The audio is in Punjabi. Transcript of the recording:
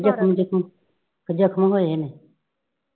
. ਜਖ਼ਮ ਹੋਏ ਨੇ।